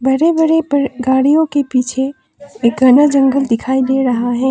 बड़े बड़े गाड़ियों के पीछे एक घना जंगल दिखाई दे रहा है।